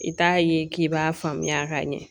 I t'a ye k'i b'a faamuya ka ɲɛ